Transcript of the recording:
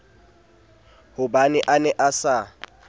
hobane a ne a sa